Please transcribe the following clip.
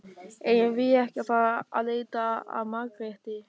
Eigum við ekki að fara að leita að Margréti?